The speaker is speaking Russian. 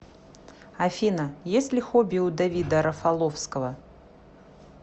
афина есть ли хобби у давида рафаловского